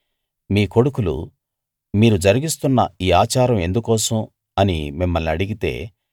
మీ కొడుకులు మీరు జరిగిస్తున్న ఈ ఆచారం ఎందుకోసం అని మిమ్మల్ని అడిగితే